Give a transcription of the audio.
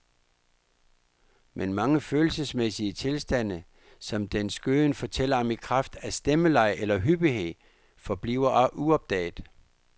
Men mange følelsesmæssige tilstande, som dens gøen fortæller om i kraft af stemmeleje eller hyppighed, forbliver uopdaget.